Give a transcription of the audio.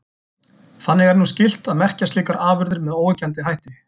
Þannig er nú skylt að merkja slíkar afurðir með óyggjandi hætti.